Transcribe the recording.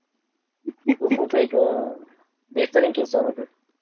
तो खूप एक अह बेहतरीन किस्से होते